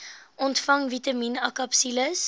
ontvang vitamien akapsules